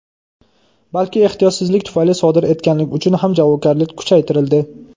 balki ehtiyotsizlik tufayli sodir etganlik uchun ham javobgarlik kuchaytirildi.